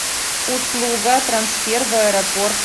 услуга трансфер в аэропорт